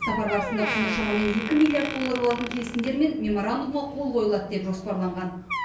сапар барысында құны шамамен екі миллиард доллар болатын келісімдер мен меморандумға қол қойылады деп жоспарланған